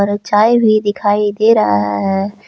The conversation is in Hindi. और चाय भी दिखाई दे रहा है।